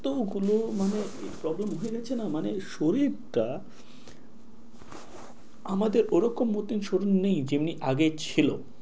এতগুলো মানে problem হয়ে গেছে না, মানে শরীরটা আমাদের ওরকম মতন শরীর নেই যেমনি আগে ছিল।